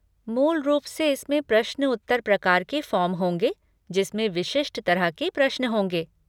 मूल रूप से इसमें प्रश्न उत्तर प्रकार के फ़ॉर्म होंगे जिसमें विशिष्ट तरह के प्रश्न होंगे।